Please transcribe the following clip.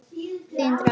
Þín Dröfn.